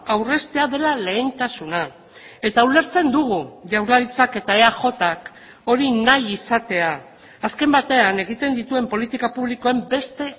aurreztea dela lehentasuna eta ulertzen dugu jaurlaritzak eta eajk hori nahi izatea azken batean egiten dituen politika publikoen beste